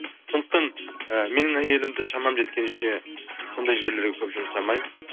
сондықтан ы менің әйелімді шамам жеткенше сондай жерлерге көп жұмсамаймын